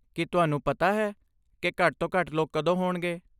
ਕੀ ਤੁਹਾਨੂੰ ਪਤਾ ਹੈ ਕਿ ਘੱਟ ਤੋਂ ਘੱਟ ਲੋਕ ਕਦੋਂ ਹੋਣਗੇ?